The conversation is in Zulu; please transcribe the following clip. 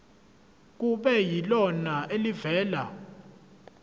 kube yilona elivela